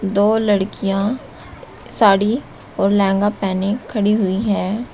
दो लड़कियां साड़ी और लहंगा पहने खड़ी हुई है।